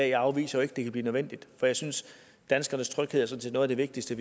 ikke afviser at det kan blive nødvendigt for jeg synes at danskernes tryghed er noget af det vigtigste